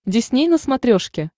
дисней на смотрешке